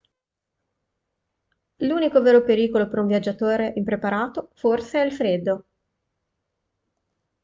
l'unico vero pericolo per un viaggiatore impreparato forse è il freddo